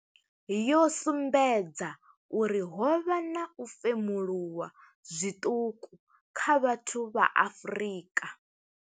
yo sumbedza uri ho vha na u femuluwa zwiṱuku kha vhathu vha Afrika.